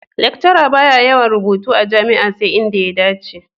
Lecturer ba ya yawan yin rubutu a jami'a sai inda ya dace.